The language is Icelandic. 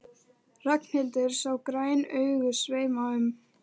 Ragnhildur sá græn augun sveima um.